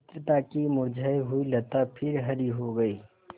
मित्रता की मुरझायी हुई लता फिर हरी हो गयी